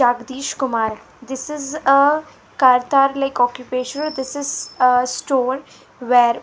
jagadeesh kumar this is a kartar like occupation this is a store were--